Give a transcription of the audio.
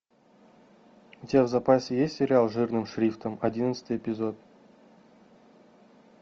у тебя в запасе есть сериал жирным шрифтом одиннадцатый эпизод